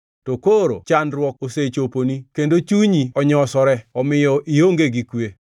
To koro chandruok osechoponi kendo chunyi onyosore omiyo ionge gi kwe.